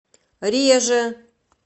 реже